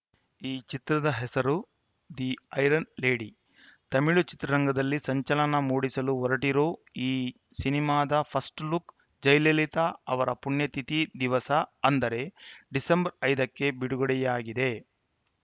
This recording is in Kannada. ಈ ಚಿತ್ರದ ಹೆಸರು ದಿ ಐರನ್‌ ಲೇಡಿ ತಮಿಳು ಚಿತ್ರರಂಗದಲ್ಲಿ ಸಂಚಲನ ಮೂಡಿಸಲು ಹೊರಟಿರೋ ಈ ಸಿನಿಮಾದ ಫಸ್ಟ್‌ ಲುಕ್‌ ಜಯಲಲಿತಾ ಅವರ ಪುಣ್ಯತಿಥಿ ದಿವಸ ಅಂದರೆ ಡಿಸೆಂಬರ್ ಐದು ಕ್ಕೆ ಬಿಡುಗಡೆಯಾಗಿದೆ